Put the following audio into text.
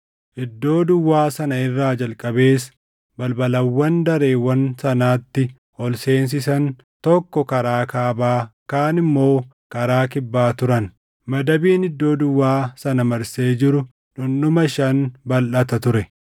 Iddoo duwwaa sana irraa jalqabees balbalawwan dareewwan sanatti ol seensisan, tokko karaa kaabaa, kaan immoo karaa kibbaa turan; madabiin iddoo duwwaa sana marsee jiru dhundhuma shan balʼata ture.